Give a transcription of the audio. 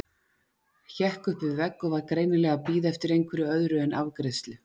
Hékk upp við vegg og var greinilega að bíða eftir einhverju öðru en afgreiðslu.